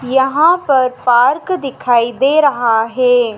यहां पर पार्क दिखाई दे रहा हैं।